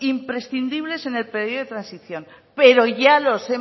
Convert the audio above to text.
imprescindibles en el periodo de transición pero ya los